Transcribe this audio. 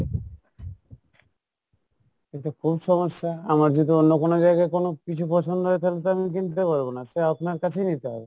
এ তো খুব সমস্যা, আমার যদি অন্য কোনো জায়গাই কোনো কিছু পছন্দ হয় তাহলে তো আমি কিনতে পারবো না, সে আপনার কাছেই নিতে হবে